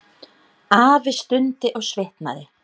Afi stundi og svitnaði.